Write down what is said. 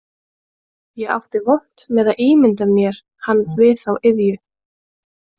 Ég átti vont með að ímynda mér hann við þá iðju